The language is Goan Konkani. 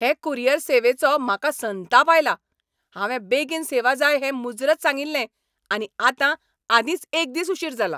हे कुरियर सेवेचो म्हाका संताप आयला. हांवें बेगीन सेवा जाय हें मुजरत सांगिल्लें, आनी आतां आदींच एक दिस उशीर जाला !